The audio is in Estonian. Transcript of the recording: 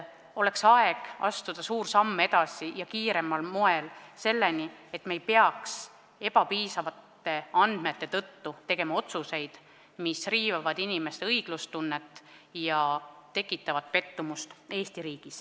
Oleks aeg astuda suur samm edasi ja kiiremal moel, et me ei peaks ebapiisavate andmete tõttu tegema otsuseid, mis riivavad inimeste õiglustunnet ja tekitavad pettumust Eesti riigis.